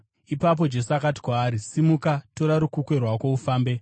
Ipapo Jesu akati kwaari, “Simuka! Tora rukukwe rwako ufambe.”